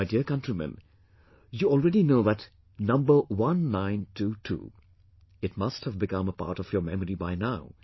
My dear countrymen, you already know that number 1922 ...it must have become a part of your memory by now